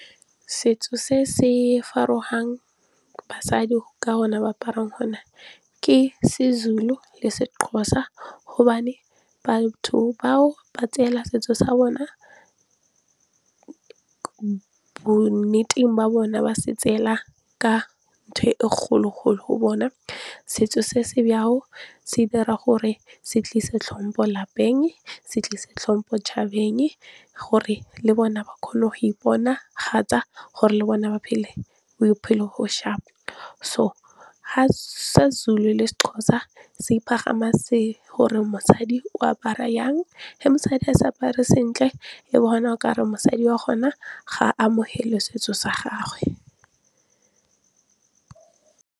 Setso se se farogang basadi ka gona go aparang gona ke seZulu, seXhosa gobane batho bao bo nnete ba bona ba se tsela ka ntho e kgolo-kgolo go bona. Setso se se jalo se dira gore se tlise tlhompo lapeng, se tlise tlhompo 'tšhabeng gore le bona ba kgone go iponagatsa, gore le bone ba phele bophelo bo sharp. So ga seZulu, seXhosa se pagama gore mosadi o apara yang, fa mosadi a sa apare sentle e bona o kare mosadi wa gona ga amogele setso sa gagwe.